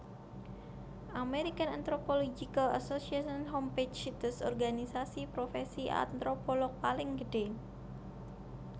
American Anthropological Association Homepage Situs organisasi profèsi antropolog paling gedhé